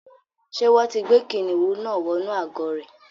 Ṣé wọ́n ti gbé kìnìnú náà wọnú àgò rẹ̀.